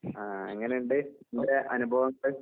ആഹ് എങ്ങന്ണ്ട് നിന്റെ അനുഭവങ്ങള്?